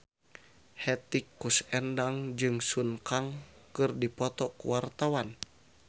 Hetty Koes Endang jeung Sun Kang keur dipoto ku wartawan